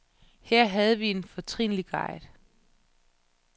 Her havde vi en fortrinlig guide.